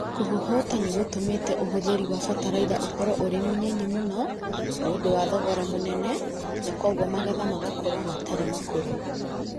Kũhũhũta nĩ gũtũmĩte ũhũthĩri wa bataraitha ũkorũo ũrĩ mũnyinyi mũno. Nĩ ũndũ wa thogora mũnene na kwoguo magetha makorũo matarĩ makũrũ.